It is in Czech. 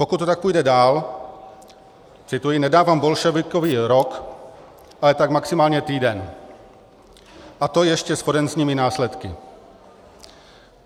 Pokud to tak půjde dál - cituji - nedávám bolševikovi rok, ale tak maximálně týden, a to ještě s forenzními následky.